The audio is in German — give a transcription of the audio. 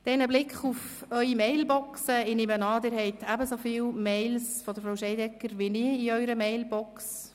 Ein Blick auf Ihre Mailboxen: Ich nehme an, Ihre Mailboxen enthalten ähnlich viele E-Mails von Frau Scheidegger wie meine.